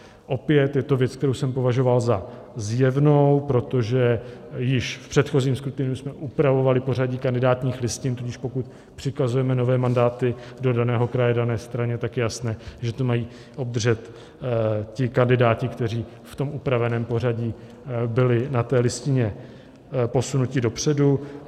Opět je to věc, kterou jsem považoval za zjevnou, protože již v předchozím skrutiniu jsme upravovali pořadí kandidátních listin, tudíž pokud přikazujeme nové mandáty do daného kraje dané straně, tak je jasné, že ty mají obdržet ti kandidáti, kteří v tom upraveném pořadí byli na té listině posunuti dopředu.